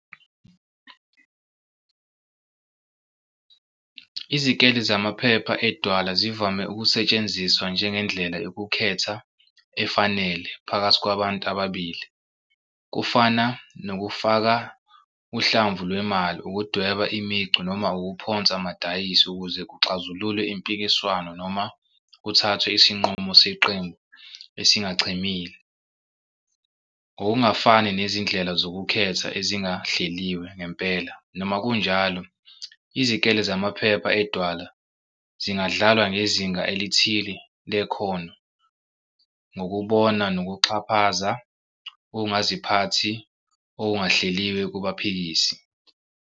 Izikele zamaphepha edwala zivame ukusetshenziswa njengendlela yokukhetha efanele phakathi kwabantu ababili, kufana nokufaka uhlamvu lwemali, ukudweba imicu, noma ukuphonsa amadayisi ukuze kuxazululwe impikiswano noma kuthathwe isinqumo seqembu esingachemile. Ngokungafani nezindlela zokukhetha ezingahleliwe ngempela, noma kunjalo, izikele zamaphepha edwala zingadlalwa ngezinga elithile lekhono ngokubona nokuxhaphaza ukungaziphathi okungahleliwe kubaphikisi.